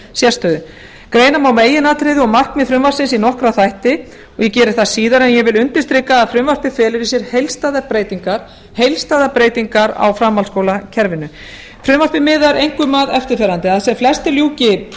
sérstöðu greina má meginatriði og markmið frumvarpsins í nokkra þætti og ég geri það síðar en ég vil undirstrika að frumvarpið felur í sér heildstæðar breytingar á framhaldsskólakerfinu frumvarpið miðar einkum að eftirfarandi að sem flestir ljúki